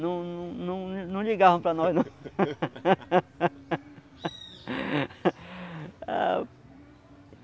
Não não não não ligavam para nós não.